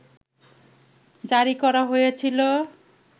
জারি করা হয়েছিল